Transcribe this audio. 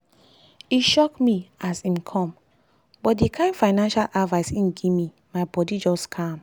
e shock me as as im come but the kind financial advice him gimme my bodi just calm.